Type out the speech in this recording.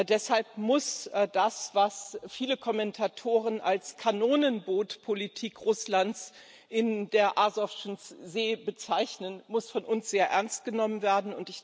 Deshalb muss das, was viele Kommentatoren als Kanonenbootpolitik Russlands im Asowschen Meer bezeichnen, von uns sehr ernst genommen werden.